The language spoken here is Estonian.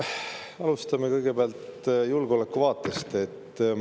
Alustame kõigepealt julgeolekuvaatest.